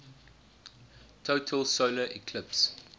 total solar eclipse